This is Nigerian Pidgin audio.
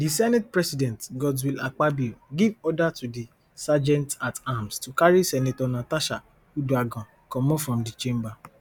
di senate president godswill akpabio give order to di sergeantatarms to carry senator natasha uduaghan comot from di chamber